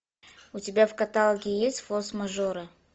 у тебя в каталоге есть форс мажоры